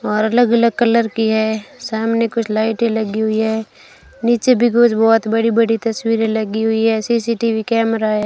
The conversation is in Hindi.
और अलग अलग कलर की हैं सामने कुछ लाइटें लगी हुई है नीचे भी कुछ बहोत बड़ी बड़ी तस्वीरें लगी हुई हैं सी_सी_टी_वी कैमरा है।